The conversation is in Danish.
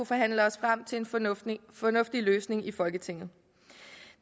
forhandle os frem til en fornuftig fornuftig løsning i folketinget